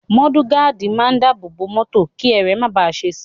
Mọ́dù gaádì máa ń dábòòbò mọ́tò kí ẹrẹ̀ máa bàá ṣe si.